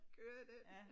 Kører den